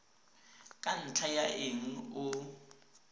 ka ntlha ya eng o